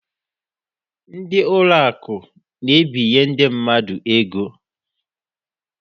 Ndị ụlọ akụ na-ebinye ndị mmadụ ego.